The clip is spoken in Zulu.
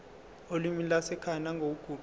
olimini lwasekhaya nangokuguquka